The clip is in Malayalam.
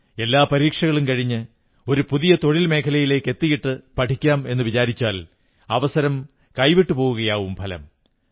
എല്ലാ പരീക്ഷകളും കഴിഞ്ഞ് ഒരു പുതിയ തൊഴിൽ മേഖലയിലെത്തിയിട്ട് പഠിക്കാമെന്നു വിചാരിച്ചാൽ അവസരം കൈവിട്ടുപോകയാകും ഫലം